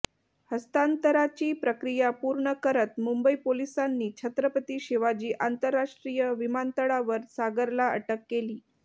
हस्तांतराची प्रक्रिया पूर्ण करत मुंबई पोलिसांनी छत्रपती शिवाजी आंतरराष्ट्रीय विमानतळावर सागरला अटक केली